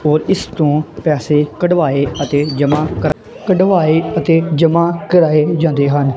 ਔਰ ਇਸ ਤੋਂ ਪੈਸੇ ਕਢਵਾਏ ਅਤੇ ਜਮਾ ਕਰਾ ਕਢਵਾਏ ਅਤੇ ਜਮਾਂ ਕਰਾਏ ਜਾਂਦੇ ਹਨ।